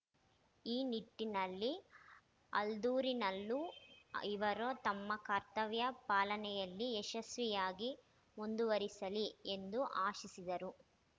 ಈ ನಿಟ್ಟಿನಲ್ಲಿ ಆಲ್ದೂರಿನಲ್ಲೂ ಇವರು ತಮ್ಮ ಕರ್ತವ್ಯ ಪಾಲನೆಯಲ್ಲಿ ಯಶಸ್ವಿಯಾಗಿ ಮುಂದುವರಿಸಲಿ ಎಂದು ಆಶಿಸಿದರು